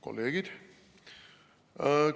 Kolleegid!